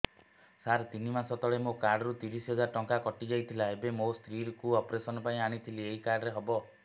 ସାର ତିନି ମାସ ତଳେ ମୋ କାର୍ଡ ରୁ ତିରିଶ ହଜାର ଟଙ୍କା କଟିଯାଇଥିଲା ଏବେ ମୋ ସ୍ତ୍ରୀ କୁ ଅପେରସନ ପାଇଁ ଆଣିଥିଲି ଏଇ କାର୍ଡ ରେ ହବ